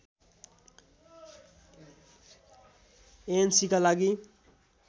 एएनसीका लागि